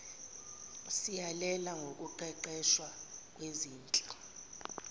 siyalela ngokuqeqeshwa kwezinhla